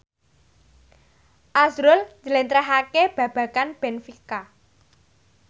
azrul njlentrehake babagan benfica